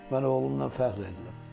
Mən oğlumdan fəxr edirəm.